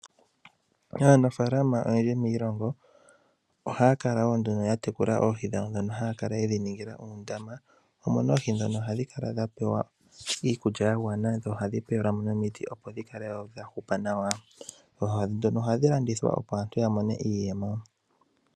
Aanafaalama oyendji miilongo ohaya kala wo nduno ya tekula oohi dhawo ndhono haya kala ye dhi ningila uundama, oohi ndhono ohadhi kala dha pewa iikulya ya gwana dho ohadhi pewelwa mo nomiti opo dhi kale wo dha hupa nawa. Oohi ndhono hadhi landithwa opo aantu ya mone iiyemo.